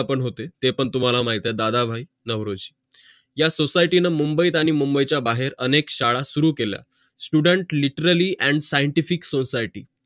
ते पण होते ते पण तुम्हाला माहित आहे दादा भाई नवरेश या society ने मुंबईत आणि मुंबईचा बाहेर अनेक शाळा सुरु केल्या student literally and scientific society